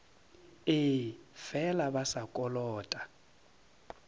ee fela ba sa kolota